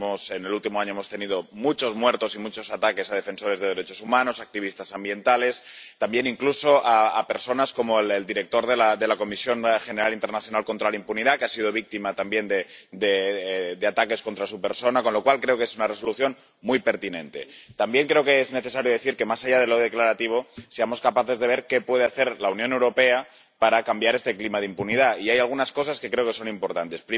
En el último año, hemos tenido muchos muertos y muchos ataques a defensores de derechos humanos, activistas ambientales, incluso a personas como el director de la Comisión Internacional contra la Impunidad, que ha sido víctima también de ataques contra su persona, con lo cual creo que es una Resolución muy pertinente. También creo que es necesario decir que, más allá de lo declarativo, hemos de ser capaces de ver qué puede hacer la Unión Europea para cambiar este clima de impunidad, y hay algunas cosas que creo que son importantes.